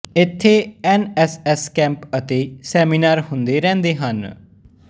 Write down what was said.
ਇਥੇ N S S camp ਅਤੇ seminar ਹੁੰਦੇ ਰਹਿੰਦੇ ਹਨ